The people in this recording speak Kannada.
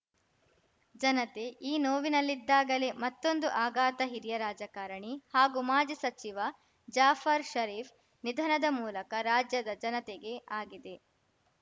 ಜನತೆ ಈ ನೋವಿನಲ್ಲಿದ್ದಾಗಲೇ ಮತ್ತೊಂದು ಆಘಾತ ಹಿರಿಯ ರಾಜಕಾರಣಿ ಹಾಗೂ ಮಾಜಿ ಸಚಿವ ಜಾಫರ್‌ ಷರೀಫ್‌ ನಿಧನದ ಮೂಲಕ ರಾಜ್ಯದ ಜನತೆಗೆ ಆಗಿದೆ